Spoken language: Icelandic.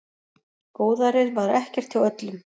Góðærið var ekkert hjá öllum.